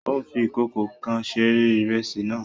Ó ń fi ìkòkò kan se ìrẹsì náà